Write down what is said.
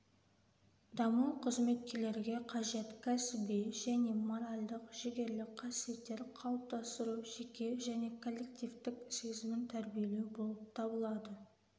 даму қызметкерлерге қажет кәсіби және моральдық-жігерлік қасиеттер қалыптастыру жеке және коллективтік сезімін тәрбиелеу болып табылады